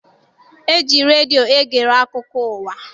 E ji redio egere akụkọ ụwa.